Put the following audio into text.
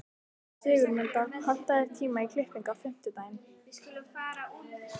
Sigurmunda, pantaðu tíma í klippingu á fimmtudaginn.